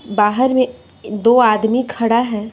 बाहर में दो आदमी खड़ा है।